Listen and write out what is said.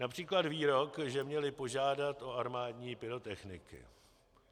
Například výrok, že měli požádat o armádní pyrotechniky.